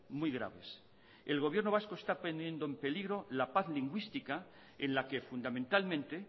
muy graves el gobierno vasco está poniendo el peligro la paz lingüística en la que fundamentalmente